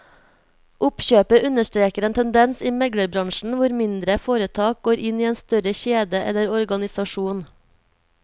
Oppkjøpet understreker en tendens i meglerbransjen hvor mindre foretak går inn i en større kjede eller organisasjon.